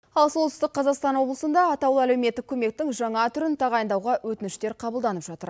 ал солтүстік қазақстан облысында атаулы әлеуметтік көмектің жаңа түрін тағайындауға өтініштер қабылданып жатыр